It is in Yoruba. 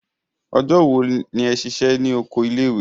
Ọjọ́ wo ni ẹ ṣiṣẹ́ ní oko ilé ìwé?